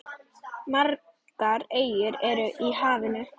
Margar eyjar eru í hafinu.